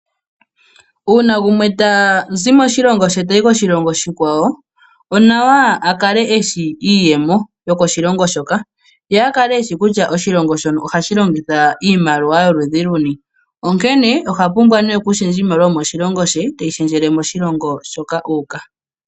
Uuna gumwe tazi moshilongo she tayi koshilongo oshikwawo onawa akale eshi iiyemo yokoshilongo hoka. Ye akale eshi kutya oshilongo shono ohashi longitha iimaliwa yoludhi luni. Onkene oha pumbwa nee oku shendja iimaliwa yomoshilongo she teyi shendjele ku yomoshilongo shoka uuka.